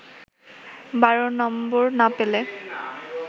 ১২ নম্বর না পেলে